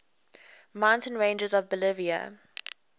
mountain ranges of bolivia